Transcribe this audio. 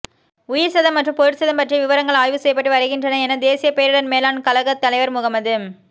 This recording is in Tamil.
உயிர்ச்சேதம் மற்றும் பொருட்சேதம் பற்றிய விவரங்கள் ஆய்வு செய்யப்பட்டு வருகின்றன என தேசிய பேரிடர் மேலாண் கழக தலைவர் முகமது